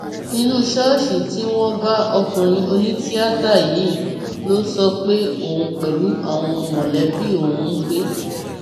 inú ṣọọṣì tí wọn bá ọkùnrin onítìátà yìí ló sọ pé òun pẹlú àwọn mọlẹbí òun ń gbé